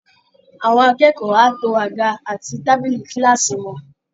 Àwọn akẹ́kọ̀ọ́ á to àga àti tábílì kíláàsì wọn